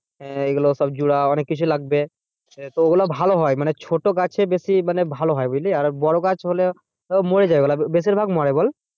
হ্যাঁ এগুলো সব জোড়া অনেক কিছু লাগবে। তো ওগুলো ভালো হয় মানে ছোটো গাছে বেশি মানে ভালো হয় বুঝলি বড়ো গাছ হলে মরে যায় ওগুলো বেশির ভাগ মরে বল?